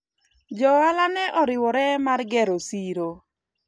jo ohala ne oriwore mar gero siro